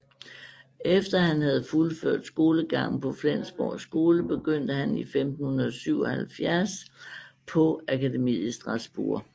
Efter at han havde fuldført skolegangen på Flensborg skole begyndte han i 1577 på akademiet i Strasbourg